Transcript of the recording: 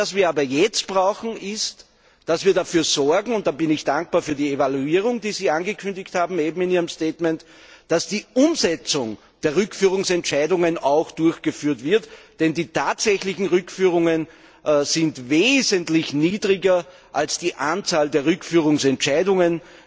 Was wir jetzt brauchen ist, dass wir dafür sorgen und da bin ich dankbar für die Evaluierung, die Sie eben in Ihrem Statement angekündigt haben dass die Umsetzung der Rückführungsentscheidungen auch durchgeführt wird, denn die Zahl der tatsächlichen Rückführungen liegt wesentlich niedriger als die Zahl der Rückführungsentscheidungen.